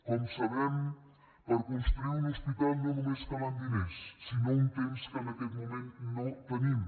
com sabem per construir un hospital no només calen diners sinó un temps que en aquest moment no tenim